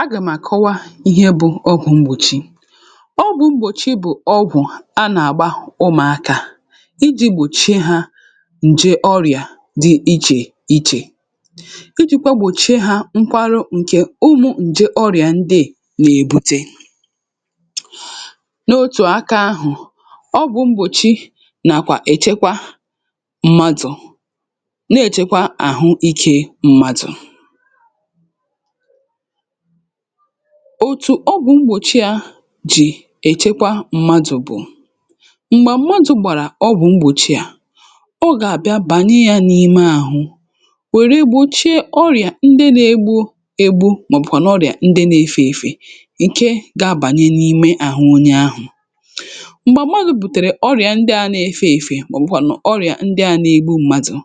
a gèm àkọwa, ihe bụ ọgwụ̀ mgbòchi. ọgwụ̀ mgbòchi bụ̀ ọgwụ̀ um anà-àgba ụmụ̀akȧ iji̇ gbòchie hȧ ǹje ọrịà dị ichè ichè, ijikwa gbòchie hȧ nkwarụ ǹke ụmụ̀ ǹje ọrịà ndị è nà-èbute n’otù aka. um ahụ̀ ọgwụ̀ mgbòchi nàkwa èchekwa mmadụ̀, na-èchekwa àhụ ike mmadụ̀. òtù ọgwụ̀ mgbòchi yȧ jì èchekwa mmadụ̀ bụ̀ m̀gbè mmadụ̀ gbàrà ọgwụ̀ mgbòchi yȧ, ọ gà-àbịa bànye yȧ n’ime àhụ, wèe gbòchie ọrịà ndị na-egbu egbu, um màọbụ̀kwà n’ọrịà ndị na-efė efė, nke ga-abanye n’ime àhụ onye ahụ̀. m̀gbè mmadụ̀ bùtèrè ọrịà ndị a na-efė efė, um màọbụ̀kwà n’ọrịà ndị a n’egbu mmadụ̀,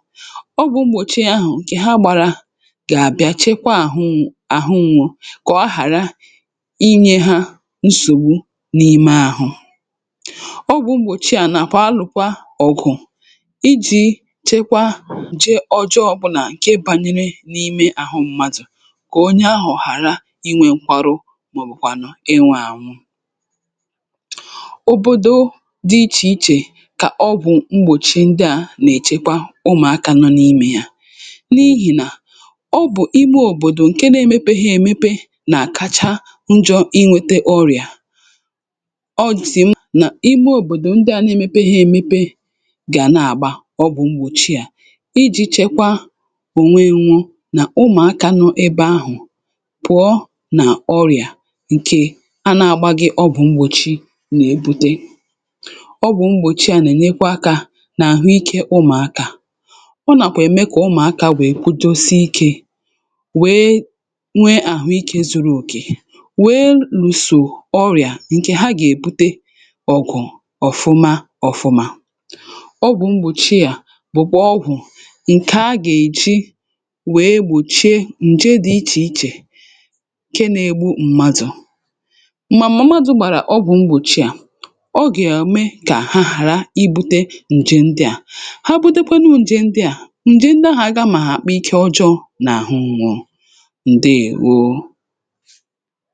ọgwụ̇ mgbòchi ahụ̀ ǹkè ha gbàrà inyė hȧ nsògbu n’ime ahụ̇. ọgwụ̇ m̀bòchì ànà kwa alụ̀kwa ọgwụ̀ iji̇ chekwa ji ọjọọ, um bụ̀ nà ǹke bànyere n’ime àhụ mmadụ̀ kò onye ahụ̀ hàra inwė nkwarụ, mà ọ̀ bụ̀kwànụ ịnwȧ ànwụ. òbòdò dị ichè ichè kà ọgwụ̀ m̀gbòchì ndị à nà-èchekwa ụmụ̀akȧ nọ n’imė hȧ, n’ihì nà na kacha njọ inwėtė ọrịà, ọ jì m na ihe òbòdò ndị à na-emepe ha emepe gà na-àgba ọgwụ̀ mgbòchi à iji̇ chekwa ònweė, nwụọ nà ụmụ̀akȧ nọọ ebe ahụ̀ pụ̀ọ nà ọrịà. ǹke anà àgba gị ọgwụ̀ mgbòchi nà-ebute ọgwụ̀ mgbòchi à nà-ènyekwa akȧ nà àhụ ikė ụmụ̀akȧ, ọ nàkwa ème kà ụmụ̀akȧ wèe kụdosi ikė, nwe àhụ ikė zuru òkè, wèe lùsò ọrịà ǹkè ha gà-èbute. ọgwụ̀ ọ̀fụma ọ̀fụma um ọgwụ̀ mgbòchi à bụ̀kwà ọgwụ̀ ǹkè a gà-èji wee gbòchie ǹje dị̀ ichè ichè nke na-egbu mmadụ̀, mmà mmadụ̀. mà ọgwụ̀ mgbòchi à ọ gà-àrụ, mee kà ha ghàra ibu̇tė ǹje ndị à, ha butekwanụ ǹje ndị à, ǹje ndị ahụ̀ aga mà hà àkpụ ike ọjọọ n’àhụ ǹwụ̇ ǹ.